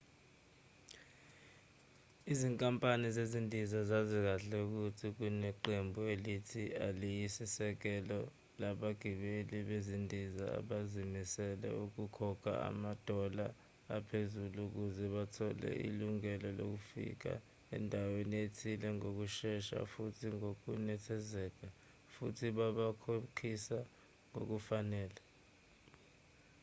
izinkampani zezindiza zazi kahle ukuthi kuneqembu elithile eliyisisekelo labagibeli bezindiza abazimisele ukukhokha ama-dollar aphezulu ukuze bathole ilungelo lofika endaweni ethile ngokushesha futhi ngokunethezeka futhi babakhokhisa ngokufanele